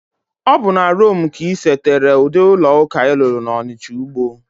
Obu na Rome ka isetere udi ulo-uka ilulu na Onitcha-Ugbo?